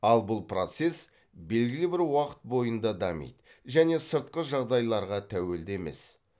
ал бұл процесс белгілі бір уақыт бойында дамиды және сыртқы жағдайларға тәуелді емес